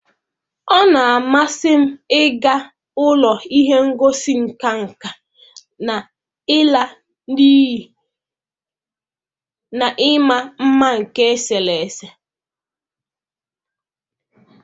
Ọ na-amasị m ịga ụlọ ihe ngosi nka nka na ịla n'iyi na ịma mma nke eserese.